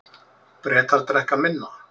Bretar drekka minna